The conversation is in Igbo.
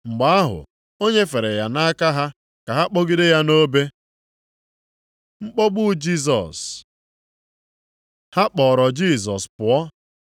Mgbe ahụ, o nyefere ya nʼaka ha, ka ha kpọgide ya nʼobe. Mkpọgbu Jisọs Ha kpọọrọ Jisọs pụọ.